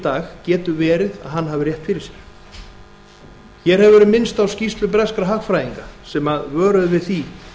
dag getur verið að hann hafi rétt fyrir sér hér hefur verið minnst á skýrslu breskra hagfræðinga sem vöruðu við því